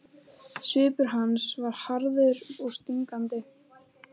Svipur hans var harður og stingandi.